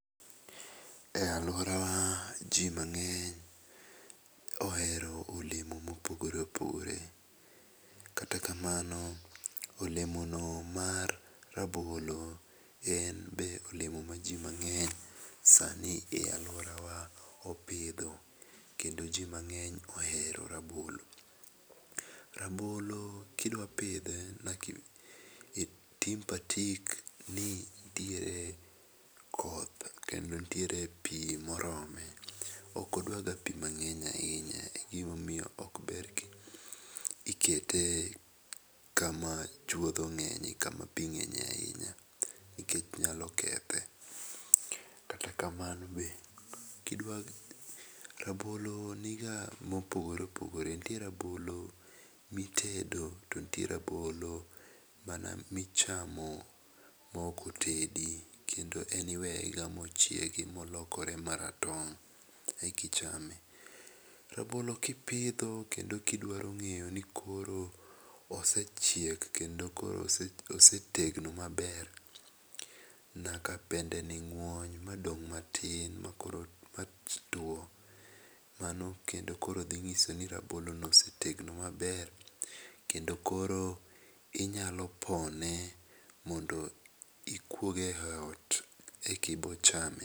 E aluora wa ji mangeny ohero olemo ma opogore opogore .Kata kamano olemo no mar rabolo en be olemo ma ji mangeny sa ni e aluora wa sani opidho kendo ji mangeny ohero rabolo. Rabolo ka idwa pidhe nyaka itim patik ni nitiere koth kendo nitier pi ma orome, ok odwa ga pi manegny ainya e gi ma omiyo ok ber ki ikete kama chuodho ng'eny ka ma pi ng'enye nikech nyalo kethe. Kata kamano be ki idwa rabolo ni ga ma opogore opogore. Nitie rabolo mi itedo to nitie rabolo mana mi ichamo ma ok otedi ,kendo en iweya ga mo chiegi molokre ma rateng eka ichame. Rabolo ki ipidho kendo ki idwaro ng'eyo ni koro osechiek kendo osetegno ma ber nyaka dende ni ngwony ma dong ma tin ma koro two mano kendo koro dhi ng'iso ni rabolo osetegno ma ber kendo koro inyalo pone mondo ikuoge e ot e ko bo chame.